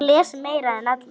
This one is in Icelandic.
Hún les meira en allir.